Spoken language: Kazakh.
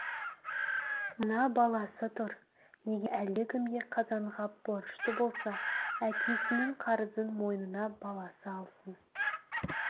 мына баласы тұр егер әлдекімге қазанғап борышты болса әкесінің қарызын мойнына баласы алсын